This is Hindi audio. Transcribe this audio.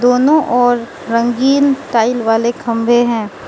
दोनों ओर रंगीन टाइल वाले खंबे हैं।